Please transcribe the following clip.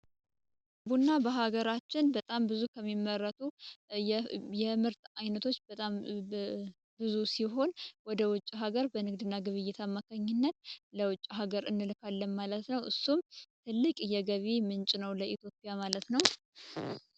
ግቡእና በሀገራችን በጣም ብዙ ከሚመረቱ የእምህርት አይነቶች በጣም ብዙ ሲሆን ወደ ውጭ ሀገር በንግድና ግብ የታማካኝነት ለውጭ ሀገር እንልካለም ማለት ነው እሱም ትልቅ የገቢ ምንጭ ነው ለኢትዮጵያ ማለት ነው